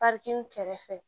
kɛrɛfɛ